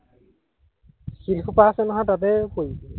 শিলসোপা আছে নহয় তাতে পৰিবিগে